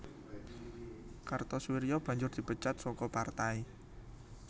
Kartosoewirjo banjur dipecat saka partai